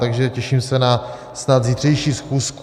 Takže se těším na snad zítřejší schůzku.